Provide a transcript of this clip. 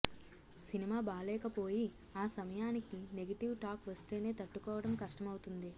cinema బాలేకపోయి ఆ సమయానికి నెగెటివ్ టాక్ వస్తేనే తట్టుకోవడం కష్టమవుతుంది